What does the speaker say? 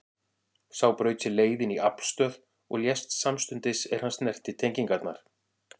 Sá braut sér leið inn í aflstöð og lést samstundis er hann snerti tengingarnar.